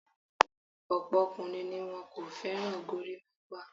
Ọ̀pọ̀ ọkùnrin ni wọn kò fẹ́ràn gorímápá.